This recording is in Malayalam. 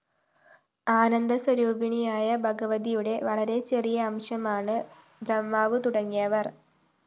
ആന്ദസ്വരൂപിണിയായ ഭഗവതിയുടെ വളരെ ചെറിയ അംശമാണ്‌ ബ്രഹ്മാവുതുടങ്ങിയവര്‍